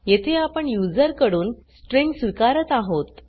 येथे आपण यूज़र कडून स्ट्रिँग स्वीकारत आहोत